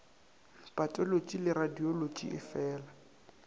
patolotši le radiolotši e feela